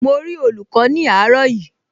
Mo rí olùkọ́ ní àárọ̀ yìí